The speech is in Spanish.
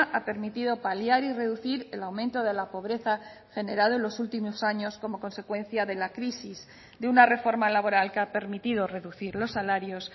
ha permitido paliar y reducir el aumento de la pobreza generado en los últimos años como consecuencia de la crisis de una reforma laboral que ha permitido reducir los salarios